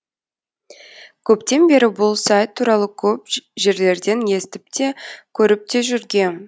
көптен бері бұл сайт туралы көп жерлерден естіпте көріпте жүргем